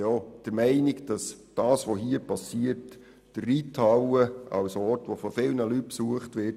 Was dort geschieht, schadet meines Erachtens auch der Reithalle als Ort, der von vielen Leuten besucht wird.